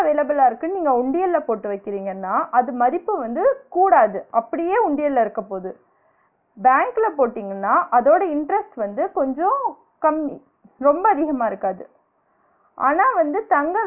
பணம் available ஆ இருக்குனு நீங்க உண்டியல போட்டு வைக்றீங்கன்னா அது மதிப்பு வந்து கூடாது அப்டியே உண்டியல இருக்க போது, bank போட்டிங்கன்னா அதோட interest வந்து கொஞ்சம் கம்மி ரொம்ப அதிகமா இருக்காது ஆனா வந்து